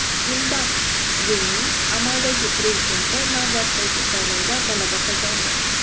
Zimbabvening amaldagi prezidenti navbatdagi saylovda g‘alaba qozondi.